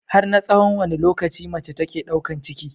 Har na tsahon wanne lokaci mace take ɗaukan ciki?